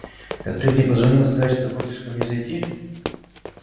так ты мне позвонил сказать что хочешь ко мне зайти